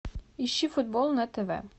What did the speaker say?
ищи футбол на тв